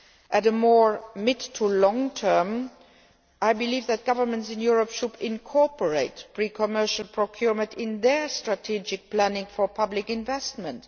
In the medium to long term, I believe that governments in Europe should incorporate pre commercial procurement in their strategic planning for public investments.